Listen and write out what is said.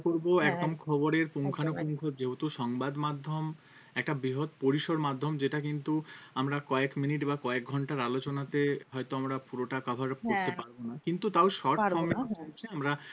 করবো হ্যাঁ একদম খবরের পুঙ্খানুপুঙ্খ একদম একদম যেহেতু সংবাদ মাধ্যম একটা বৃহৎ পরিসর মাধ্যম যেটা কিন্তু আমরা কয়েক মিনিট বা কয়েক ঘন্টার আলোচনাতে হয়তো আমরা পুরোটা cover হ্যাঁ করতে পারবো না কিন্তু তাও পারবো না হ্যাঁ short form এ হচ্ছে আমরা